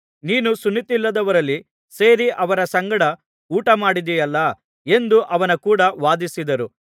ನೀನು ಸುನ್ನತಿಯಿಲ್ಲದವರಲ್ಲಿ ಸೇರಿ ಅವರ ಸಂಗಡ ಊಟಮಾಡಿದೆಯಲ್ಲಾ ಎಂದು ಅವನ ಕೂಡ ವಾದಿಸಿದರು